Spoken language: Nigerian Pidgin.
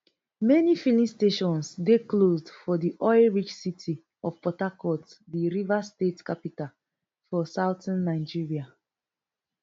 many filling stations dey closed for di oil rich city of port harcourt di rivers state capital for southern nigeria